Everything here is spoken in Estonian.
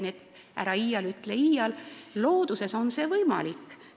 Nii et ära iial ütle iial, looduses on see võimalik.